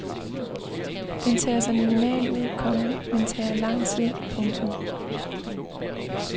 Den tager sig minimal ud, komma men tager lang tid. punktum